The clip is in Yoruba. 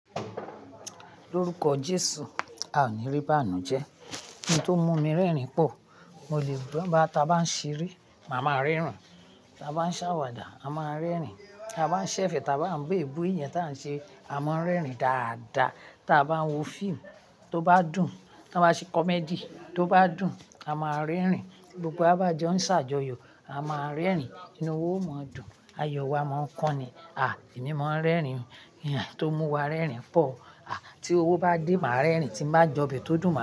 Lórúkọ Jésù, a ò ní rí báànú jẹ. Ohun tó mú mi rẹ́rìn pò, mo lè gbọ́n. Gba tà bá ń ṣeré, màá ma rẹ́rìn. Tà bá ń ṣàwàdà, à máà rẹ́rìn. Tà bá ń ṣẹ̀fẹ̀, tà bá ń be èébú eyan ta ń ṣe, a máa ń rẹ́rìn dáadáa. Tà bá ń wo fíìmù tó bá dùn, tà bá ṣe comedy tó bá dùn, à máà rẹ́rìn. Gbogbo wa bajo ń ṣàjọyọ̀, à máà rẹ́rìn. Inú wáa omoń dùn, ayọ̀ wa máa ń kun ni, à, èmi máa ń rẹ́rìn. Owun tó mú wa rẹ́rìn pò. À, tí owó bá dé, màa rẹ́rìn. Tí ń bá jọbi tódùn, màá rẹ́rìn.